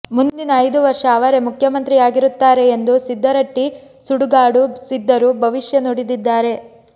ಮುಂದಿನ ಐದು ವರ್ಷ ಅವರೇ ಮುಖ್ಯಮಂತ್ರಿಯಾಗಿರುತ್ತಾರೆ ಎಂದು ಸಿದ್ದರಟ್ಟಿ ಸುಡುಗಾಡು ಸಿದ್ಧರು ಭವಿಷ್ಯ ನುಡಿದಿದ್ದಾರೆ